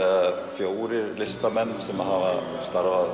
fjórir listamenn sem hafa starfað